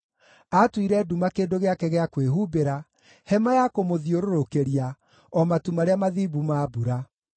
Aatuire nduma kĩndũ gĩake gĩa kwĩhumbĩra, hema ya kũmũthiũrũrũkĩria, o matu marĩa mathimbu ma mbura.